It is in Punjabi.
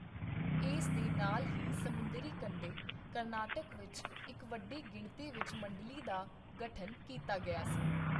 ਇਸ ਦੇ ਨਾਲ ਹੀ, ਸਮੁੰਦਰੀ ਕੰਢੇ, ਕਰਨਾਟਕ ਵਿੱਚ ਇੱਕ ਵੱਡੀ ਗਿਣਤੀ ਵਿੱਚ ਮੰਡਲੀ ਦਾ ਗਠਨ ਕੀਤਾ ਗਿਆ ਸੀ।